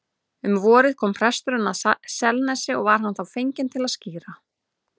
Um vorið kom presturinn að Selnesi og var hann þá fenginn til að skíra.